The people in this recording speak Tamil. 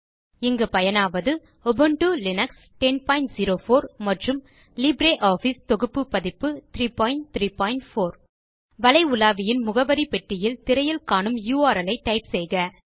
இங்கு பயனாவது உபுண்டு லினக்ஸ் 1004 மற்றும் லிப்ரியாஃபிஸ் தொகுப்பு பதிப்பு 334 வலை உலாவியின் முகவரி பெட்டியில் திரையில் காணும் யுஆர்எல் ஐ டைப் செய்க